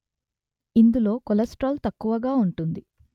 ఇందులో కొలెస్ట్రాల్ తక్కువగా ఉంటుంది